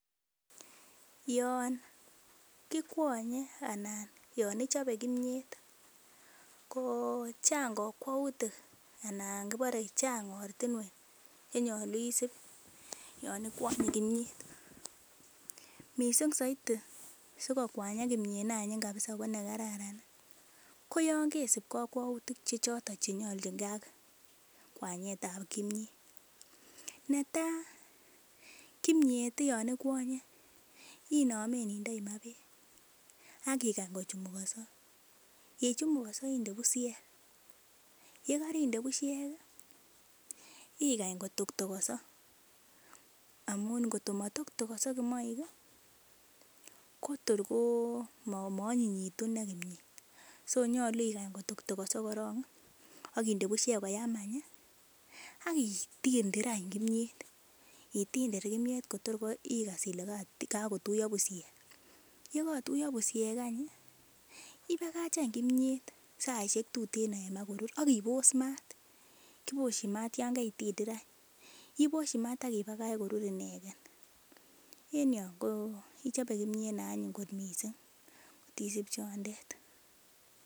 Yon kikwonye anan yon ichobe kimiet ko chang kokwoutik anan kibore chang ortinwek chenyolu isip yon ikwonye komiet missing soiti dikokwanyak imiet neanyiny kabisa ko nekararan koyon kesip kokwoutik chenyolu kotinyngee ak kwanyetab kimiet, netaa kimiet yon inkwonye inome indoi maa beek ak ikany kochumukoso yechumukoso inde bushek yekerinde bushek igany kotoktokoso amun ingot komotoktokoso imoik ii kotor ko moonyinyekitu inee kimiet so nyolu kotoktokoso korong ii ak inde bushek koyam any ii ak itindir any kimiet indidir kimiet kotor igas ile kokotuyo bushek yekotuyo bushek any ii ibakach any kimiet saishek tuten akikany korur ak ibos maat , kiboshin maat yon keitindir any iboshi maat ak ibakach korur ineken en yon ko ichobe kimiet neanyin kot missing' kotisib chondet.